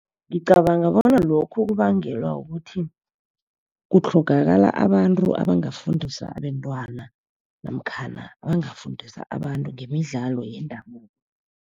Ngicabanga bona lokhu kubangelwa kukuthi kutlhogakala abantu abangafundisa abentwana, namkhana abangafundisa abantu ngemidlalo yendabuko.